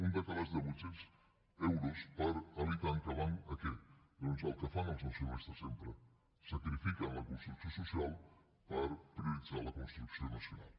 un decalatge de vuit cents euros per habitant que van a què doncs al que fan els nacionalistes sempre sacrifiquen la construcció social per prioritzar la construcció nacional